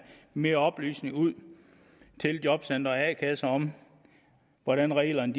mere oplysning ud til jobcentre og a kasser om hvordan reglerne